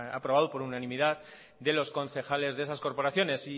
aprobado por unanimidad de los concejales de esas corporaciones